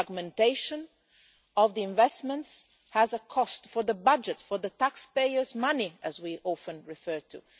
The fragmentation of investment has a cost for the budget for the taxpayers' money that we often refer to.